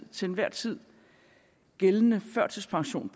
til enhver tid gældende førtidspension